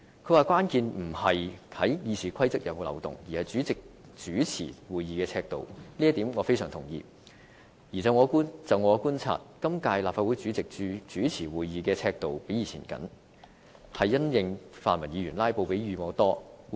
他說關建不在於《議事規則》是否有漏洞，而是主席主持會議的尺度，這一點我非常同意，而且就我的觀察，今屆立法會主席主持會議的尺度較以往為緊，是因應泛民議員"拉布"比以往頻繁。